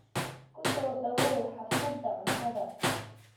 Ku soo dhawoow xaflada cuntada.